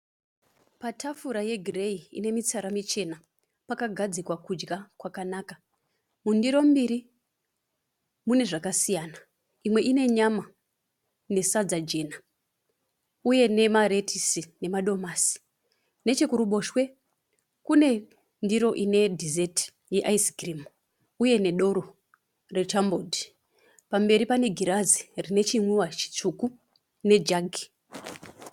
Patafura yegirei ine mutsara michena. Pakagadzikwa kudya kwakanaka. Mundiro mbiri mune zvakasiyana imwe inenyama nesadza jena uye nemaretisi nemadomasi. Nechekuruboshwe kune ndiro ine (dissert)ye (ice cream) uye nedoro rechambord. Pamberi pane girazi rine chinwiwa chitsvuku nejagi.